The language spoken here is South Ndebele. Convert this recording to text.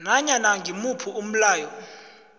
nanyana ngimuphi umlayo